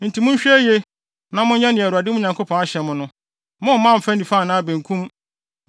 Enti mohwɛ yiye na n monyɛ nea Awurade mo Nyankopɔn ahyɛ mo no; momman mfa nifa anaa benkum.